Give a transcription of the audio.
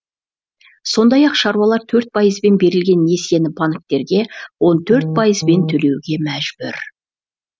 сондай ақ шаруалар төрт пайызбен берілген несиені банктерге он төрт пайызбен төлеуге мәжбүр